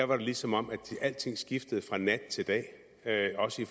var det som om alting skiftede fra nat til dag dag også i